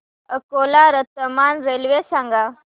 Akola Ratlam railway सांगा